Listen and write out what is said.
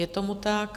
Je tomu tak.